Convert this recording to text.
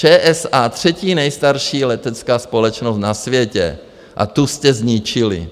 ČSA - třetí nejstarší letecká společnost na světě, a tu jste zničili.